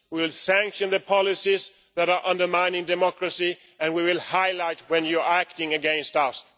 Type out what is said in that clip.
We will sanction the policies that are undermining democracy, and we will highlight when you are acting against us.